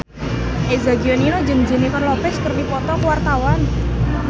Eza Gionino jeung Jennifer Lopez keur dipoto ku wartawan